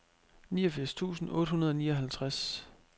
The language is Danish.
niogfirs tusind otte hundrede og nioghalvtreds